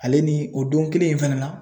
Ale ni o don kelen in fɛnɛ na